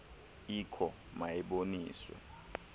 ikho ma iboniswe